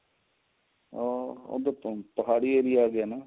ਆਹ ਪਹਾੜੀ ਏਰੀਆ ਆ ਗਿਆ ਨਾ